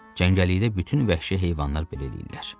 Cəngəllikdə bütün vəhşi heyvanlar belə eləyirlər.